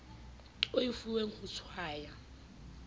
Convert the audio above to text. o e fuweng ho tshwaya